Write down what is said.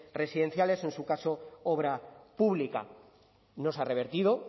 residenciales o en su caso obra pública no se ha revertido